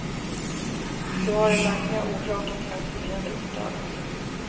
Nu har den verkliga orsaken till hans lidande uppdagats.